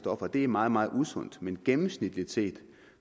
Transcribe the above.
og det er meget meget usundt men gennemsnitligt set